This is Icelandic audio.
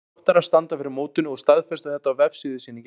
Þróttarar standa fyrir mótinu og staðfestu þetta á vefsíðu sinni í gær.